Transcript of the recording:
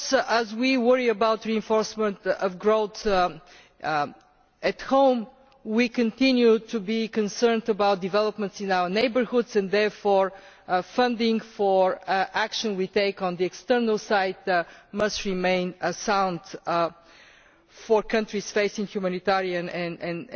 As we worry about reinforcement of growth at home, we continue to be concerned about developments in our neighbourhoods, and therefore funding for actions we take on the external side must remain sound for countries facing humanitarian and